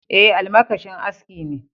Ae, almakashin aski ne.